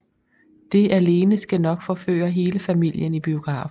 Det alene skal nok forføre hele familien i biografen